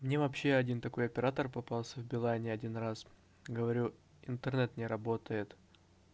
мне вообще один такой оператор попался в билайне один раз говорю интернет не работает